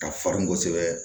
Ka farin kosɛbɛ